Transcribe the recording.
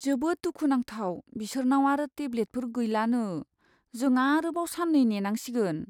जोबोद दुखुनांथाव बिसोरनाव आरो टेब्लेटफोर गैलानो! जों आरोबाव साननै नेनांसिगोन।